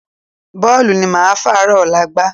Bọ́ọ̀lù ni mo máa fàárọ̀ ọ̀la gbá